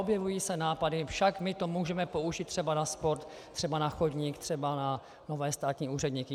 Objevují se nápady: Však my to můžeme použít třeba na sport, třeba na chodník, třeba na nové státní úředníky.